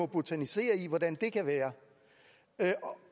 botanisere i hvordan det kan være